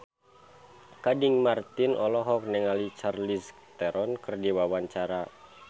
Gading Marten olohok ningali Charlize Theron keur diwawancara